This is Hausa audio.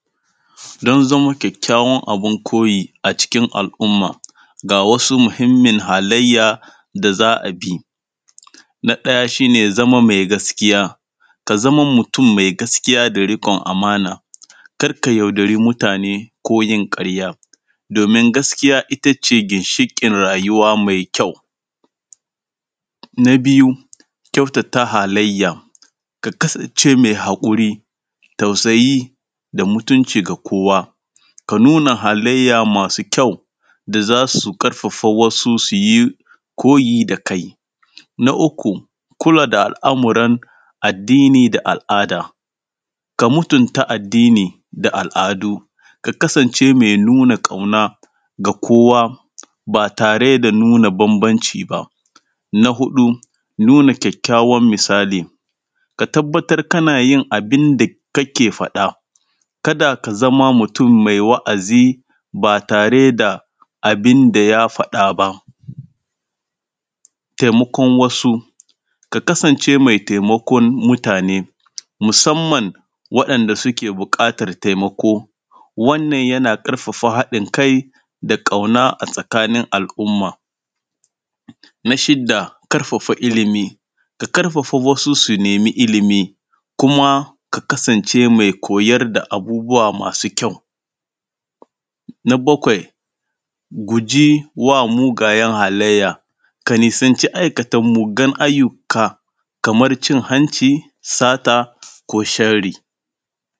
Don zama kyakkyawa abin koyi a cikin al’umma. Ga wasu muhimmin halayya da a bi, na ɗaya ka zama mai gaskiya, ka zama mutum mai gaskiya mai amana. Kar ka yaudari mutana ko yin ƙarya. Domin gaskiya it ace ginshiƙin rayuwa mai kyau. Na biyu kyautata halayya, ka kasance mai haƙuri tausayi, da mutunci ga kowa, ka nuna halayya masu kyau. Da za su ƙarfa wasu, su yi koyi da kai. Na uku kula da al’amuran addini da al’ada, ka mutunta addini da al’adu. Ka kasance mai nuna ƙauna ga kowa ba tare da nuna bambanci ba. Na huɗu nuna kyakkyawan misali, ka tabbatar kana yin abin da kake faɗa. kada ka zama mutum mai wa’azi, ba tare da abin da ya faɗɗa ba. Taimakan wasu, ka kasance mai taimakon mutane musamman ga wanda suke neman taimako. Wannan yana ƙafafa haɗin kai da ƙauna a tsakanin al’umma. Na shidda ƙafafa ilimi, ka ƙafafa wasu su nemi ilimi, kuma ka kasance mai koyarda abubuwa masu kyau. Na bakwai guji wa mugayen halayya, ka nisanci aikata mugayen ayyuka, kamar cin hanci, sata ko sharri.